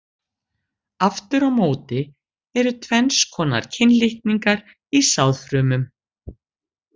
Aftur á móti eru tvenns konar kynlitningar í sáðfrumum.